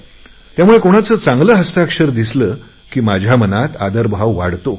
त्यामुळे कोणाचे चांगले हस्ताक्षर दिसले की माझ्या मनात आदरभाव वाढतो